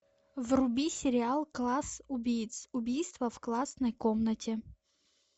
вруби сериал класс убийц убийство в классной комнате